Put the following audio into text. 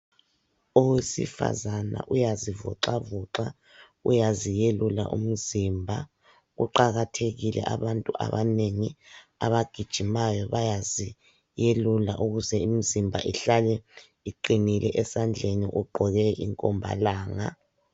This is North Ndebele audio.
Owesifazana uyazivoxavoxa uyaziyelula umzimba. Kuqakathekile abantu abanengi abagijimayo bayaziyelula ukuze imzimba ihlale iqinile. Esandleni ugqoke inkombalanga.